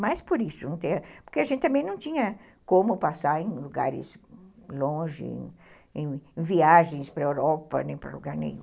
Mas por isso, porque a gente também não tinha como passar em lugares longe, em viagens para a Europa, nem para lugar nenhum.